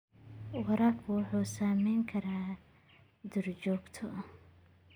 Waraabku wuxuu saamayn karaa duurjoogta.